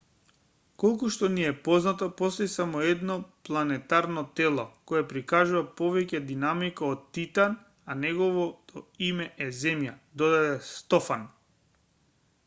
колку што ни е познато постои само едно планетарно тело кое прикажува повеќе динамика од титан а неговото име е земја додаде стофан